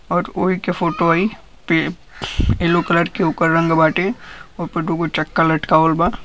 और ओहिके फोटो आई पे येलो कलर के ओकर रंग बाटे ओहिपर दुगो चक्का लटकावल |